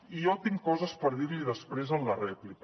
i jo tinc coses per dir li després en la rèplica